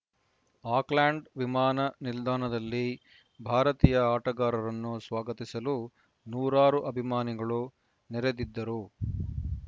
Auckland ವಿಮಾನ ನಿಲ್ದಾಣದಲ್ಲಿ ಭಾರತೀಯ ಆಟಗಾರರನ್ನು ಸ್ವಾಗತಿಸಲು ನೂರಾರು ಅಭಿಮಾನಿಗಳು ನೆರೆದಿದ್ದರು